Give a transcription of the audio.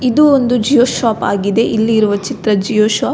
ಇದು ಒಂದು Jio shop ಆಗಿದೆ ಇಲ್ಲಿರುವ ಚಿತ್ರ ಜಿಯೋ ಶಾಪ್ .